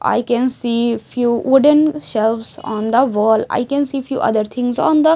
I can see few wooden shelves on the wall I can see few other things on the--